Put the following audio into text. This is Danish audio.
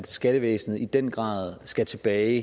skattevæsenet i den grad skal tilbage